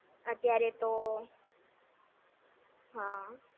અત્યારે તો હા